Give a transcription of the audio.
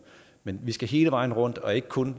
men vi skal hele vejen rundt og ikke kun